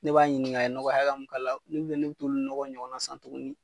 Ne b'a ɲininka a ye nɔgɔ hakɛ min k'a la, purke ne ka t'olu nɔgɔ ɲɔgɔn san tuguni.